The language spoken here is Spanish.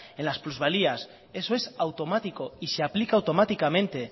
en las plusvalías eso es automático y se aplica automáticamente